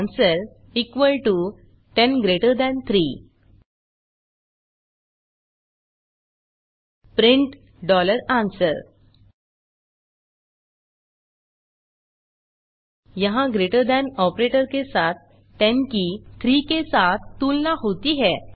answer 10 3 print answer यहाँ greater than operator के साथ 10 की 3 के साथ तुलना होती है